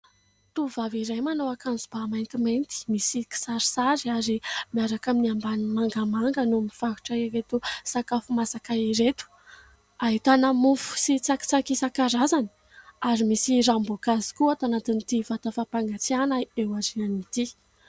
Tovovavy iray manao akanjo-bà maintimainty, misy kisarisary ary miaraka amin'ny ambaniny mangamanga no mivarotra ireto sakafo masaka ireto. Ahitana mofo sy tsakitsaky isankarazany ary misy ranom-boankazo koa ato anatin'ity vata fampangatsiahana eo aoriany ity.